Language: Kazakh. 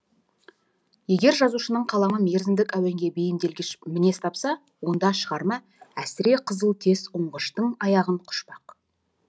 егер жазушының қаламы мерзімдік әуенге бейімделгіш мінез тапса онда шығарма әсіре қызыл тез оңғыштың аяғын құшпақ